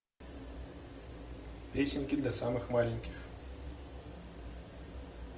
песенки для самых маленьких